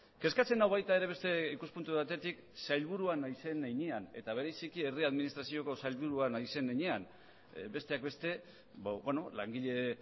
kezkatzen nau baita ere beste ikuspuntu batetik sailburua naizen heinean eta bereziki herri administrazioko sailburua naizen heinean besteak beste langile